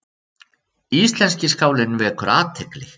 Íslenski skálinn vekur athygli